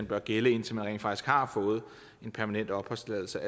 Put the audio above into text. bør gælde indtil man rent faktisk har fået en permanent opholdstilladelse